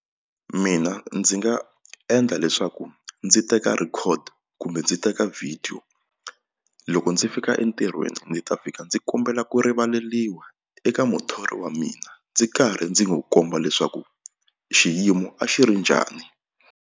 Mina ndzi nga endla leswaku ndzi teka record kumbe ndzi teka video loko ndzi fika entirhweni ndzi ta fika ndzi kombela ku rivaleriwa eka muthori wa mina ndzi karhi ndzi n'wi komba leswaku xiyimo a xi ri njhani.